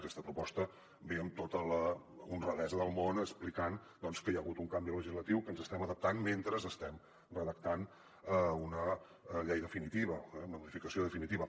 aquesta proposta ve amb tota l’honradesa del món i explica doncs que hi ha hagut un canvi legislatiu que ens hi estem adaptant mentre estem redactant una llei definitiva una modificació definitiva